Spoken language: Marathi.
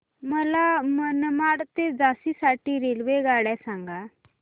मला मनमाड ते झाशी साठी रेल्वेगाड्या सांगा